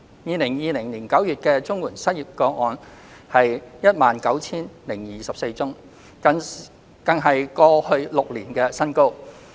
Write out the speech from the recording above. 2020年9月的綜援失業個案為 19,024 宗，更是過去6年的新高。